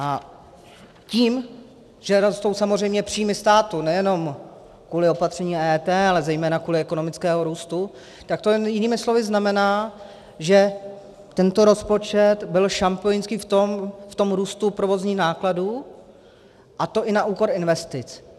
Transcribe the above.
A tím, že rostou samozřejmě příjmy státu, nejenom kvůli opatření EET, ale zejména kvůli ekonomickému růstu, tak to jinými slovy znamená, že tento rozpočet byl šampionský v tom růstu provozních nákladů, a to i na úkor investic.